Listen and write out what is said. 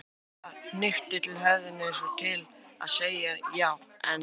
Pamela hnykkti til höfðinu eins og til að segja já, en.